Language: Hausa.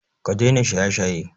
Ka daina shaye-shaye!